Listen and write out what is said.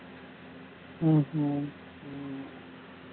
ஹம் உம்